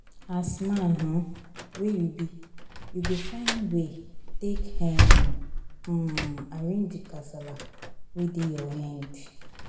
As man um wey you be, you go find way take um um arrange di kasala wey dey your end.